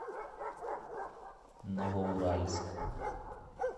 новоуральск